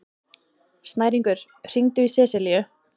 Snæringur, hringdu í Seselíu.